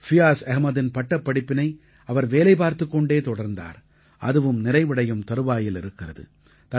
ஃபியாஸ் அஹ்மதின் பட்டப்படிப்பினை அவர் வேலை பார்த்துக் கொண்டே தொடர்ந்தார் அதுவும் நிறைவடையும் தறுவாயில் இருக்கிறது